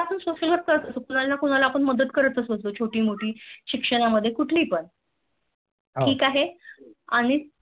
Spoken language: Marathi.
तर आपण Social work करतच होतो कुणाला ना कुणाला आपण मदत करतच होतोच छोटोमोठी शिक्षण मध्ये कुठली पण हम्म ठीक आहे आणि